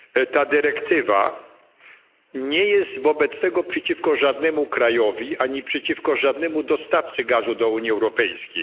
Ta dyrektywa nie jest wobec tego przeciwko żadnemu krajowi ani przeciwko żadnemu dostawcy gazu do Unii Europejskiej.